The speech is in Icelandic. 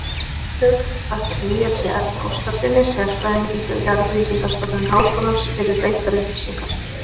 Höfundur þakkar Níelsi Erni Óskarssyni, sérfræðingi hjá Jarðvísindastofnun Háskólans, fyrir veittar upplýsingar.